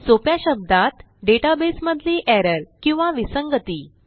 सोप्या शब्दात डेटाबेस मधली एरर किंवा विसंगती